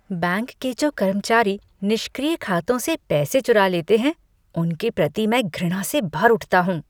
Bank के जो कर्मचारी निष्क्रिय खातों से पैसे चुरा लेते हैं उनके प्रति मैं घृणा से भर उठता हूँ।